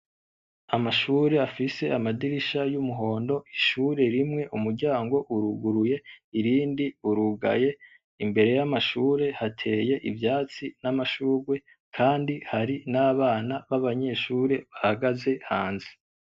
Amashure afise amadirisha y'umuhondo ,ishure rimwe umuryango uruguruye irindi urugaye imbere y'amashure hateye ivyatsi n'amashurwe Kandi hari n'abana b'abanyeshure bahagaze hanze.